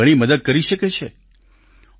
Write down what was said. તે આપની ઘણી મદદ કરી શકે છે